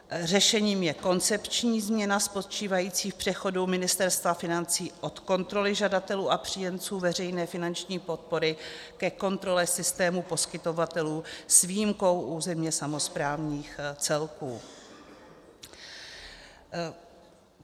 Řešením je koncepční změna spočívající v přechodu Ministerstva financí od kontroly žadatelů a příjemců veřejné finanční podpory ke kontrole systému poskytovatelů s výjimkou územně samosprávných celků.